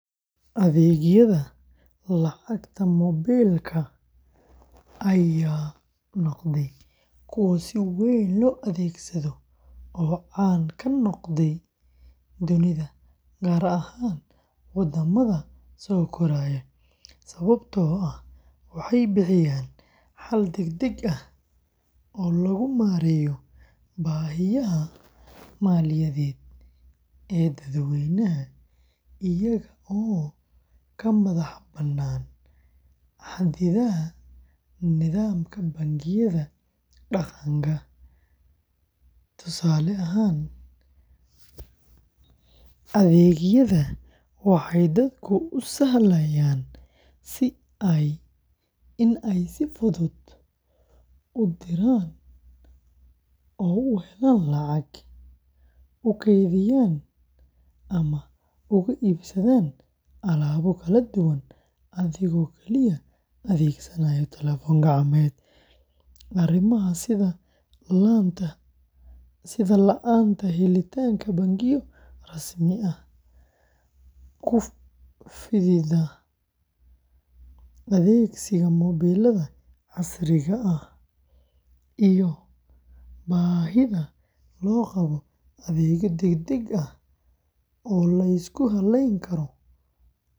Adeegyada lacagta moobilka ayaa noqday kuwo si weyn loo adeegsado oo caan ka noqday dunida gaar ahaan waddamada soo koraya, sababtoo ah waxay bixiyaan xal degdeg ah oo lagu maareeyo baahiyaha maaliyadeed ee dadweynaha, iyaga oo ka madax bannaan xadidaadaha nidaamka bangiyada dhaqanka. Tusaale ahaan, adeegyada waxay dadka u sahlayaan in ay si fudud u diraan oo u helaan lacag, u kaydiyaan ama uga iibsadaan alaabo kala duwan adigoo kaliya adeegsanaya telefoon gacmeed. Arrimaha sida la’aanta helitaanka bangiyo rasmi ah, ku fididda adeegsiga moobilada casriga ah, iyo baahida loo qabo adeegyo degdeg ah oo la isku halleyn karo.